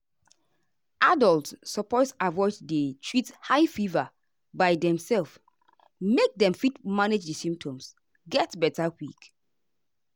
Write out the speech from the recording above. adults suppose avoid to dey treat high fever by demself make dem fit manage di symptoms get beta quick.